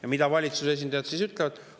Ja mida valitsuse esindajad ütlevad?